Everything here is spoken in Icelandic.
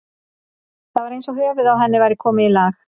Það var eins og höfuðið á henni væri komið í lag.